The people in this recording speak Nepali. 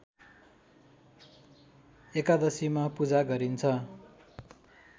एकादशीमा पूजा गरिन्छ